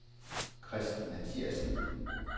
Christen Mathiasen